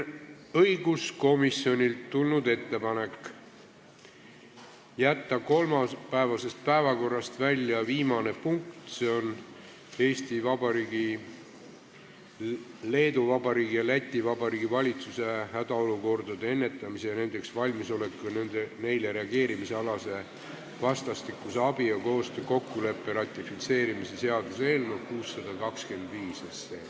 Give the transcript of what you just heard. Õiguskomisjonilt on tulnud ettepanek jätta kolmapäevasest päevakorrast välja viimane punkt, Eesti Vabariigi valitsuse, Leedu Vabariigi valitsuse ja Läti Vabariigi valitsuse hädaolukordade ennetamise, nendeks valmisoleku ja neile reageerimise alase vastastikuse abi ja koostöö kokkuleppe ratifitseerimise seaduse eelnõu 625.